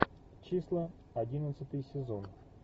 числа одиннадцатый сезон